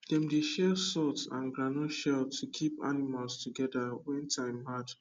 dem dey share salt and groundnut shell to keep animals together when time hard